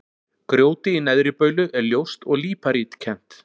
Grjótið í Neðri-Baulu er ljóst og líparítkennt.